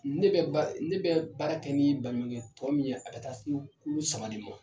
Ne bɛ ba ne bɛ baara kɛ ni baɲumankɛ tɔn min ye a ka ca ni kulu saba ye.